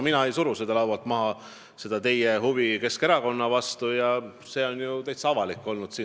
Mina ei suru seda teie huvi Keskerakonna vastu laualt maha, see kõik ongi ju täiesti avalik olnud.